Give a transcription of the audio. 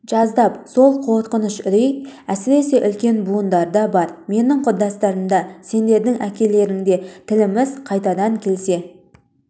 жаздап сол қорқыныш үрей әсіресе үлкен буындарда бар менің құрдастарымда сендердің әкелеріңде тіліміз қайтадан келе